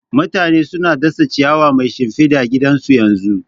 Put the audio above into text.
Mutane suna dasa ciyawa mai shimfida gidan su yanzu